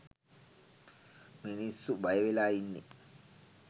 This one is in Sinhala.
මිනිස්සු බය වෙලා ඉන්නෙ